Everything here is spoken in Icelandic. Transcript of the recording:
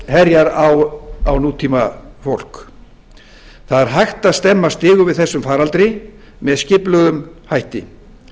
herjar á nútímafólk það er hægt að stemma stigu við þessum faraldri með skipulegum hætti